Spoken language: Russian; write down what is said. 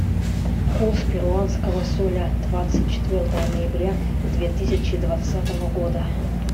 курс перуанского соля двадцать четвертого ноября две тысячи двадцатого года